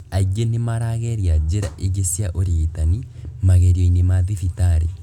Aingĩ nĩ nĩmarageria njĩra ingĩ cia ũrigitani magerio-inĩ ma thibitari